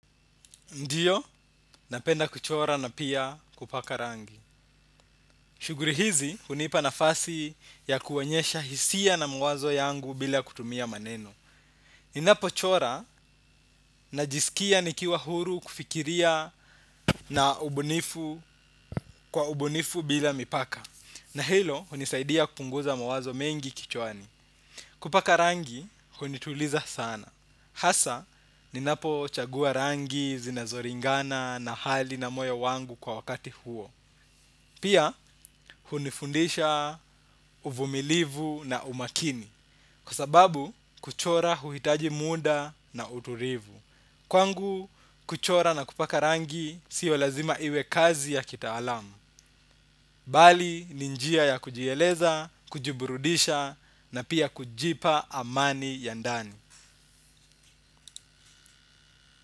Ndiyo, napenda kuchora na pia kupaka rangi. Shuguri hizi, hunipa nafasi ya kuonyesha hisia na mwazo yangu bila kutumia maneno. Ninapo chora, najisikia nikiwa huru kufikiria na ubunifu kwa ubunifu bila mipaka. Na hilo, hunisaidia kupunguza mwazo mengi kichwani. Kupaka rangi, hunituliza sana. Hasa, ninapo chagua rangi zinazoringana na hali na moyo wangu kwa wakati huo. Pia hunifundisha uvumilivu na umakini. Kwa sababu kuchora huhitaji muda na uturivu. Kwangu kuchora na kupaka rangi siyo lazima iwe kazi ya kitaalamu. Bali ninjia ya kujieleza, kujiburudisha na pia kujipa amani ya ndani.